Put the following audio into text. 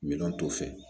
Miliyɔn t'o fɛ